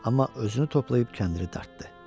Amma özünü toplayıb kəndiri dartdı.